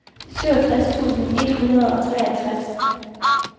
syvogtres tusind et hundrede og treogtres